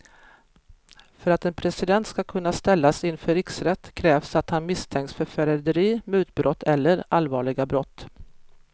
För att en president ska kunna ställas inför riksrätt krävs att han misstänks för förräderi, mutbrott eller allvarliga brott.